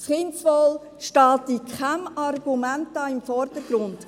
Das Kindeswohl steht hier in keinem Argument im Vordergrund.